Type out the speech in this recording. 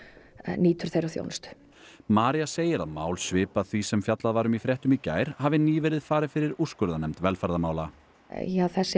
nýtur þeirrar þjónustu María segir að mál svipað því sem fjallað var um í fréttum í gær hafi nýverið farið fyrir úrskurðarnefnd velferðarmála þessi